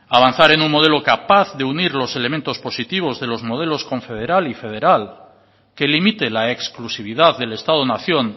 avanzar en un modelo capaz de unir los elementos positivos de los modelos confederal y federal que limite la exclusividad del estado nación